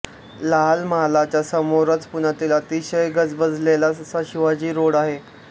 लाल महालच्या समोरच पुण्यातील अतिशय गजबजलेला असा शिवाजी रोड आहे